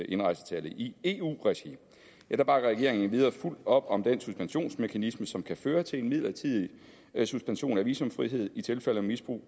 indrejsetallet i eu regi bakker regeringen endvidere fuldt op om den suspensionsmekanisme som kan føre til en midlertidig suspension af visumfrihed i tilfælde af misbrug